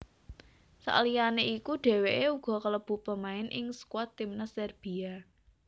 Sakliyane iku dhèwèké uga kalebu pemain ing skuad timnas Serbia